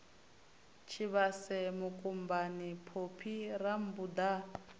tshivhase mukumbani phophi rammbuda a